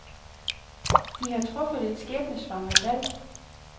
De har truffet et skæbnesvangert valg.